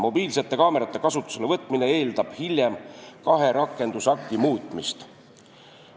Mobiilsete kaamerate kasutusele võtmine eeldab hiljem kahe rakendusakti muutmist.